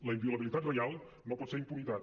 la inviolabilitat reial no pot ser impunitat